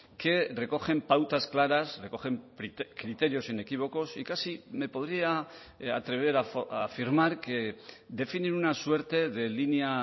que recogen pautas claras recogen criterios inequívocos y casi me podría atrever a afirmar que definen una suerte de línea